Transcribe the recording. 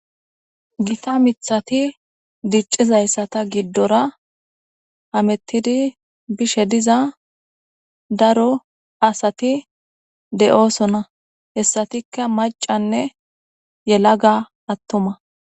Gitta mithi dicizayisa gidora hametidi bishe diza daro asati de'osona hesatika macanee yalaganee atuma